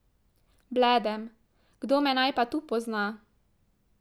Bledem, kdo me naj pa tu pozna?